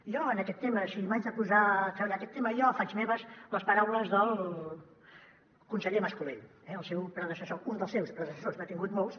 jo en aquest tema si m’haig de posar a treballar aquest tema faig meves les paraules del conseller mas colell el seu predecessor un dels seus predecessors n’ha tingut molts